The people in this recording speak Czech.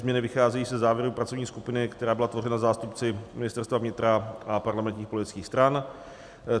Změny vycházejí ze závěru pracovní skupiny, která byla tvořena zástupci Ministerstva vnitra a parlamentních politických stran.